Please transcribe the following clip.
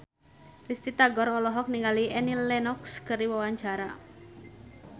Risty Tagor olohok ningali Annie Lenox keur diwawancara